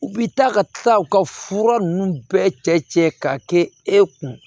U bi taa ka tila u ka fura ninnu bɛɛ cɛ k'a kɛ e kun